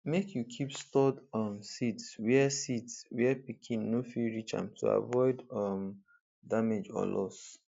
make you keep stored um seeds where seeds where pikin no fit reach am to avoid um damage or loss